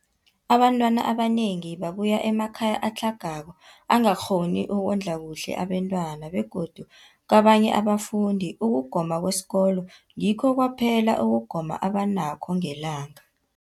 Abantwana abanengi babuya emakhaya atlhagako angakghoni ukondla kuhle abentwana, begodu kabanye abafundi, ukugoma kwesikolweni ngikho kwaphela ukugoma abanakho ngelanga.